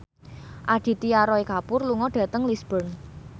Aditya Roy Kapoor lunga dhateng Lisburn